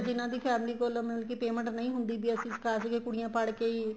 ਜਿੰਨਾ ਦੀ family ਕੋਲ ਮਤਲਬ ਕੀ payment ਨਹੀਂ ਹੁੰਦੀ ਵੀ ਅਸੀਂ ਸਿਖਾ ਸਕੀਏ ਕੁੜੀਆਂ ਪੜਕੇ ਹੀ